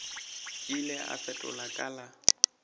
ile a fetola ka la